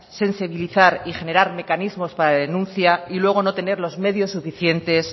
sensibilizar y generar mecanismos para la denuncia y luego no tener los medios suficientes